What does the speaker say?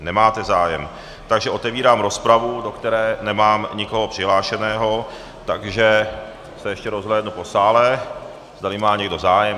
Nemáte zájem, takže otevírám rozpravu, do které nemám nikoho přihlášeného, takže se ještě rozhlédnu po sále, zdali má někdo zájem.